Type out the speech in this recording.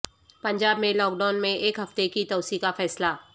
پنجاب میں lockdown میں ایک ہفتے کی توسیع کا فیصلہ